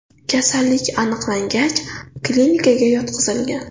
Kasallik aniqlangach, klinikaga yotqizilgan.